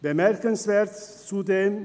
Bemerkenswert ist zudem: